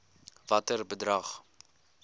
watter bedrag